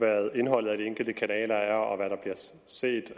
hvad indholdet af de enkelte kanaler er og hvad der bliver set